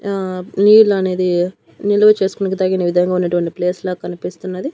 ఆ నీళ్లు అనేది నిలువ చేసుకునే తగిన విధంగా ఉన్నటువంటి ప్లేస్ లా కనిపిస్తున్నది.